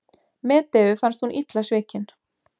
Medeu fannst hún illa svikin.